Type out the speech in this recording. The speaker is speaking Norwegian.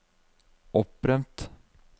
opprømt